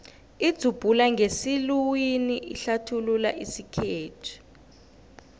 idzubhula ngesiluwini ihlathulula isikhethu